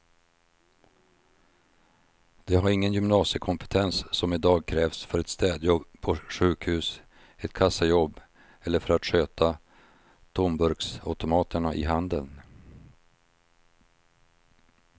De har ingen gymnasiekompetens som i dag krävs för ett städjobb på sjukhus, ett kassajobb eller för att sköta tomburksautomaterna i handeln.